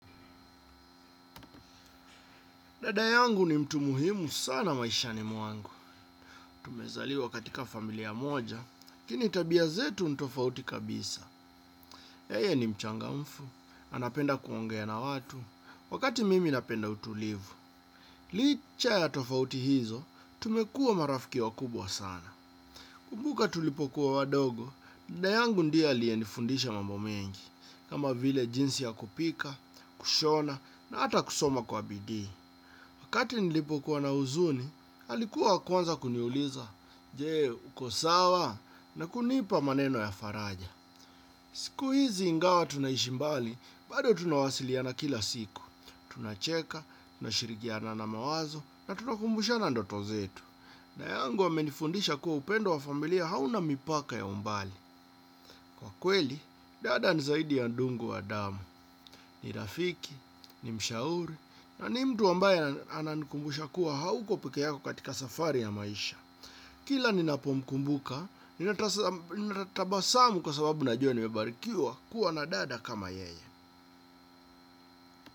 Dada yangu ni mtu muhimu sana maishani mwangu. Tumezaliwa katika familia moja, lakini tabia zetu ni tofauti kabisa. Yeye ni mchangamfu, anapenda kuongea na watu, wakati mimi napenda utulivu. Licha ya tofauti hizo, tumekuwa marafiki wakubwa sana. Nakumbuka tulipokuwa wadogo, dada yangu ndiye aliyenifundisha mambo mengi. Kama vile jinsi ya kupika, kushona, na ata kusoma kwa bidii. Wakati nilipokuwa na huzuni, alikuwa wa kwanza kuniuliza, je, uko sawa? Na kunipa maneno ya faraja. Siku hizi ingawa tunaishi mbali, bado tunawasiliana kila siku. Tunacheka, tunashirikiana na mawazo na tunakumbushana ndoto zetu. Dada yangu amenifundisha kuwa upendo wa familia hauna mipaka ya umbali. Kwa kweli, dada ni zaidi ya ndugu wa damu. Ni rafiki, ni mshauri, na ni mtu ambaye ananikumbusha kuwa hauko peke yako katika safari ya maisha. Kila ninapomkumbuka, ninatabasamu kwa sababu najua nimebarikiwa kuwa na dada kama yeye.